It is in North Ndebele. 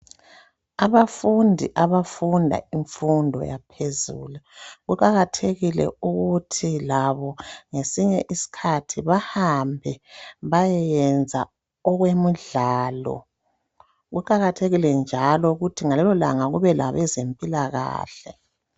Abafundi abafunda imfundo yaphezulu kuqakathekile ukuthi labo ngesinye iskhathi bahambe baye yenza okwemidlalo kuqakathekile njalo ukuthi ngalelolanga kube labezempilakahle.